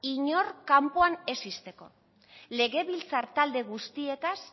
inor kanpoan ez izteko legebiltzar talde guztiekaz